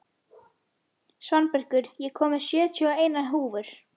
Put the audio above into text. Svanbergur, ég kom með sjötíu og eina húfur!